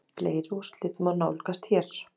Uppáhaldsdrykkur: ískalt vatn með klaka